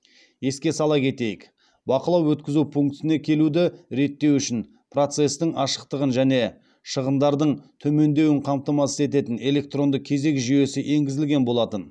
еске сала кетейік бақылау өткізу пунктіне келуді реттеу үшін процестің ашықтығын және шығындардың төмендеуін қамтамасыз ететін электронды кезек жүйесі енгізілген болатын